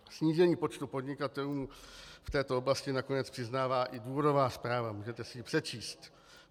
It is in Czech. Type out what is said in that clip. Snížení počtu podnikatelů v této oblasti nakonec přiznává i důvodová zpráva, můžete si ji přečíst.